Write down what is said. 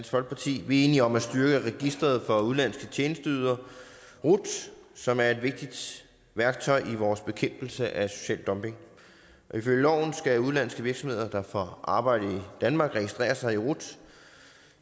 folkeparti vi er enige om at styrke registret for udenlandske tjenesteydere rut som er et vigtigt værktøj i vores bekæmpelse af social dumping ifølge loven skal udenlandske virksomheder der får arbejde i danmark registrere sig i rut